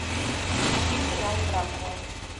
включи сериал дракула